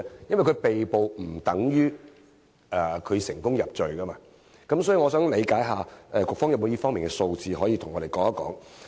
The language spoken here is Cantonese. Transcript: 因為被捕不等於入罪，所以我想理解一下，局方有沒有這方面的數字，可以向我們提供？